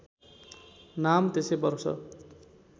नाम त्यसै वर्ष